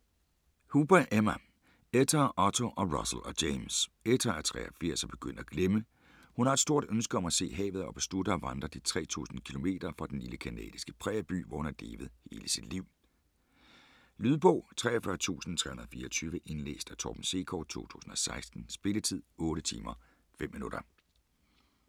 Hooper, Emma: Etta og Otto og Russell og James Etta er 83 og begyndt at glemme. Hun har et stort ønske om at se havet og beslutter at vandre de 3000 km fra den lille canadiske prærieby, hvor hun har levet hele sit liv. Lydbog 43324 Indlæst af Torben Sekov, 2016. Spilletid: 8 timer, 5 minutter.